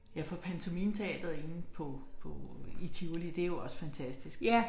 Ja for Pantomimeteatret inde på på i Tivoli det jo også fantastisk